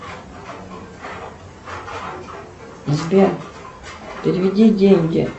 сбер переведи деньги